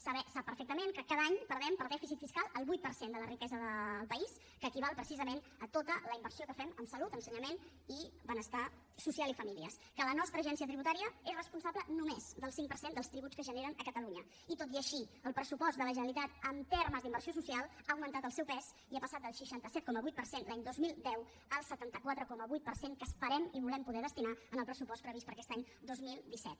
sap perfectament que cada any perdem per dèficit fiscal el vuit per cent de la riquesa del país que equival precisament a tota la inversió que fem en salut ensenyament i benestar social i famílies que la nostra agència tributària és responsable només del cinc per cent dels tributs que es generen a catalunya i tot i així el pressupost de la generalitat en termes d’inversió social ha augmentat el seu pes i ha passat del seixanta set coma vuit per cent l’any dos mil deu al setanta quatre coma vuit per cent que esperem i volem poder destinar en el pressupost previst per a aquest any dos mil disset